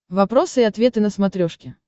вопросы и ответы на смотрешке